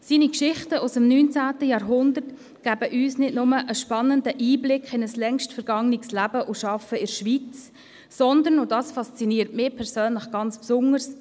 Seine Geschichten aus dem 19. Jahrhundert geben uns nicht nur einen spannenden Einblick in ein längst vergangenes Leben und Schaffen in der Schweiz, sondern – und das fasziniert mich persönlich ganz besonders –